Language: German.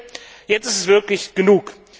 Ich denke, jetzt ist es wirklich genug.